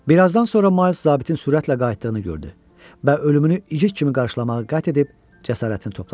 Bir azdan sonra Miles zabitin sürətlə qayıtdığını gördü və ölümünü igid kimi qarşılamağa qət edib cəsarətini topladı.